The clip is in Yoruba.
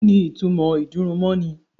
Kíni ìtumọ̀ ìgbésùmọ̀mí?